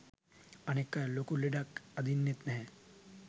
අනෙක් අය ලොකු ලෙඩක් අදින්නෙත් නැහැ.